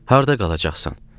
Harda qalacaqsan?